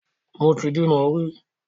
Mo ti bímo rí.